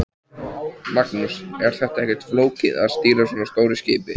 Magnús: Er ekkert flókið að stýra svona stóru skipi?